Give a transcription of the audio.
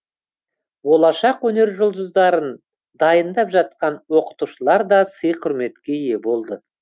болашақ өнер жұлдыздарын дайындап жатқан оқытушылар да сый құрметке ие болды